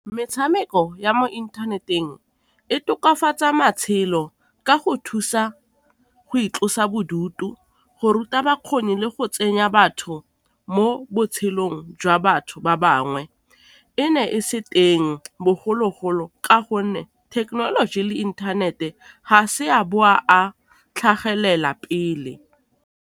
Metshameko ya mo inthaneteng e tokafatsa matshelo ka go thusa go itlosa bodutu, go ruta bakgoni, le go tsenya batho mo botshelong boleng jwa batho ba bangwe. E ne e se teng bogologolo ka gonne thekenoloji le inthanete ga se a a tlhagelela pele.